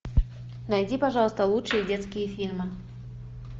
найди пожалуйста лучшие детские фильмы